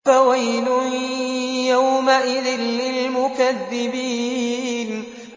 فَوَيْلٌ يَوْمَئِذٍ لِّلْمُكَذِّبِينَ